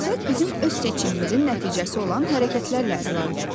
Əxlaq bizim öz seçimimizin nəticəsi olan hərəkətlərlə əlaqəlidir.